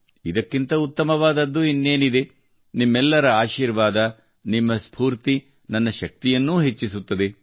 ಇದಕ್ಕಿಂತ ಉತ್ತಮವಾದದ್ದು ಇನ್ನೇನಿದೆ ನಿಮ್ಮೆಲ್ಲರ ಆಶೀರ್ವಾದ ನಿಮ್ಮ ಸ್ಫೂರ್ತಿ ನನ್ನ ಶಕ್ತಿಯನ್ನು ಹೆಚ್ಚಿಸುತ್ತದೆ